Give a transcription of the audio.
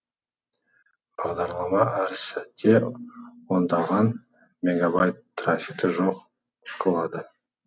бағдарлама әп сәтте ондаған мегабайт трафикті жоқ қылады